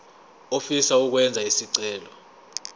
ofisa ukwenza isicelo